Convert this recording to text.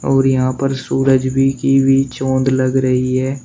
और यहां पर सूरज भी की भी चौंद लग रही है।